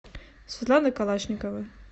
светлана калашникова